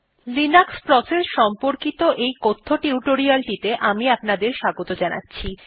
Linux process সম্পর্কিত এই কথ্য টিউটোরিয়ালটিতে আমি আপনাদের স্বাগত জানাচ্ছি